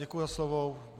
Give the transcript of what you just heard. Děkuji za slovo.